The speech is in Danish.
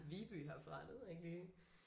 Viby herfra det ved jeg ikke lige